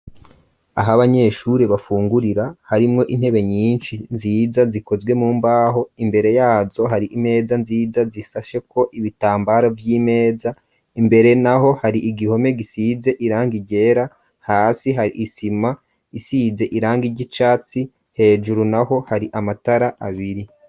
Aho abanyeshuri bafungurira harimwo intebe nyinshi nziza zikozwe mumbaho imbere yazo hari imeza nziza zisashe ko ibitambaro by'imeza imbere naho hari igihome gisize iranga igera hasi hari isima isize iranga igicatsi hejuru naho hari amatara abiri.